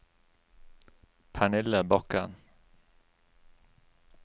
Pernille Bakken